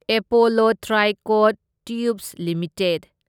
Apollo Tricoat Tubes limited